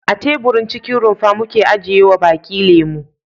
A teburin cikin rumfa muke ajiyewa baki lemo.